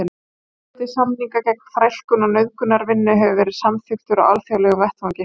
Fjöldi samninga gegn þrælkun og nauðungarvinnu hefur verið samþykktur á alþjóðlegum vettvangi.